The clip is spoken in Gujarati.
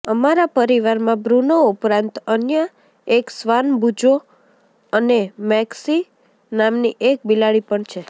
અમારા પરિવારમાં બ્રૂનો ઉપરાંત અન્ય એક શ્વાન બૂજો અને મેક્સિ નામની એક બિલાડી પણ છે